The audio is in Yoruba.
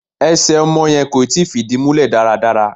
Ẹsẹ̀ ọmọ yẹn kò ì tí fìdí múlẹ̀ dáradára.